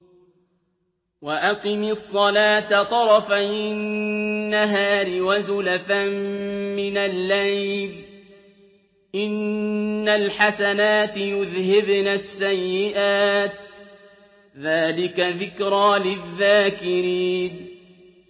وَأَقِمِ الصَّلَاةَ طَرَفَيِ النَّهَارِ وَزُلَفًا مِّنَ اللَّيْلِ ۚ إِنَّ الْحَسَنَاتِ يُذْهِبْنَ السَّيِّئَاتِ ۚ ذَٰلِكَ ذِكْرَىٰ لِلذَّاكِرِينَ